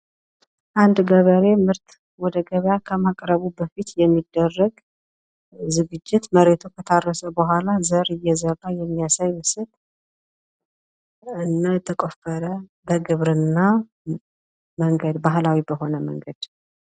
አንድ ገበሬ ምርት ወደ ገበያ ከማቅረቡ በፊት የሚደረግ ዝግጅት ፤ መሬቱ ከታረሰ ቡሃላ ዘር እየዘራ የሚያሳይ ምስል ፤ እና የተቆፈረ፣ በግብርና መንገድ፣ ባህላዊ በሆነ መንገድ።